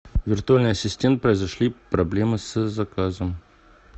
виртуальный ассистент произошли проблемы с заказом